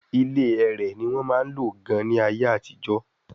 ilé ẹrẹ̀ ní wọ́n máa ń lò gan-an ní ayé àtijọ́